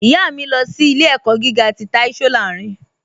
Ìyá mi, lọ sí ilẹ̀-ẹ̀kọ́ gígà tì Táí Sòláìrìn.